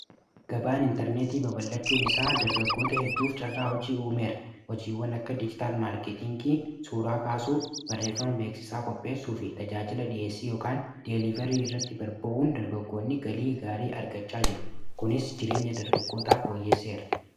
gabaan intarneetii baballachuun isaa dargaggoota hedduuf carraa hojii uumeera hojiiwwan akka dijitaal maarkeetingii suuraa kaasuu barreeffama beeksisaa qopheessuu fi tajaajila dhi'eessii ykan deelivarii irratti barba’uun dargagoonni galii gaarii argachaa jiru kunis jireenya dargaggootaaf ooyyeesseera